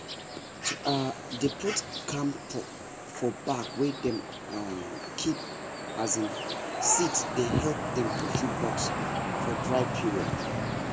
to um dey put camphor for bag wey dem um keep um seed dey help dem pursue bugs for dry period